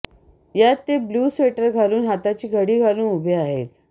यात ते blue sweater घालून हाताची घडी घालून उभे आहेत